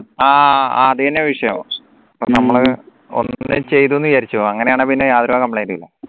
ആഹ് അതന്നെ വിഷയം ഇപ്പൊ നമ്മള് ഒന്ന് ചെയ്തുന്ന് വിചാരിച്ചോ അങ്ങനെയാണ് പിന്നെ യാതൊരുവിധ